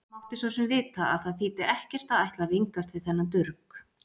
Mátti svo sem vita að það þýddi ekkert að ætla að vingast við þennan durg.